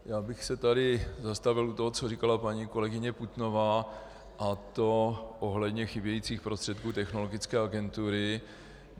Já bych se tady zastavil u toho, co říkala paní kolegyně Putnová, a to ohledně chybějících prostředků Technologické agentury.